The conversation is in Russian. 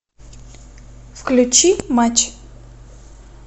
включи матч